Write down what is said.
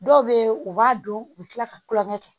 Dɔw bɛ yen u b'a dɔn u bɛ tila ka kulon kɛ